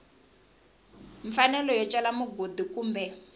mfanelo yo cela mugodi kumbe